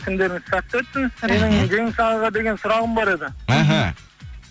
күндеріңіз сәтті өтсін жеңіс ағаға деген сұрағым бар еді мхм